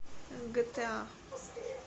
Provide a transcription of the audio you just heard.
гэтэа